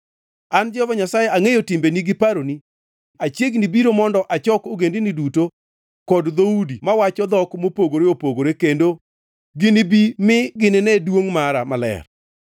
“An Jehova Nyasaye angʼeyo timbeni gi paroni achiegni biro mondo achok ogendini duto kod dhoudi mawacho dhok mopogore opogore kendo ginibi mi ginine duongʼ mara maler.